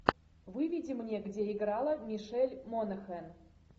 выведи мне где играла мишель монахэн